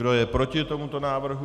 Kdo je proti tomuto návrhu?